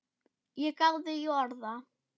Ég gáði í orða